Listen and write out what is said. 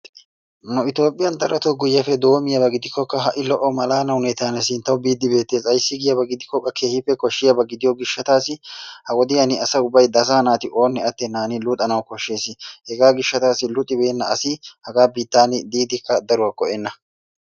Nu Itoophiyaan darotoo guyyeppe doommiyaaba gidikkoka ha'i lo"o malaala hanotan sinttawu biide beettees. Ayssi giyaba gidikko qa keehippe koshshiyaaba gidiyo gishshatassi ha wodiyaan asa ubbay asaa naati oone attenan luxanawu koshshees. hegaa gishshatassi luxibeena asi hagaa biittan diidikka daruwaa go''ena.